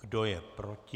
Kdo je proti?